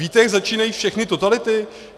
Víte, jak začínají všechny totality?